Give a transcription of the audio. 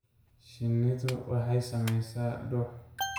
Shinnidu waxay samaysaa dhux.